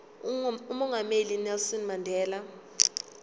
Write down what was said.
umongameli unelson mandela